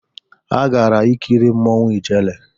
Ha gara ikiri Mmanwu Ijere